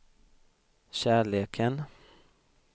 kärleken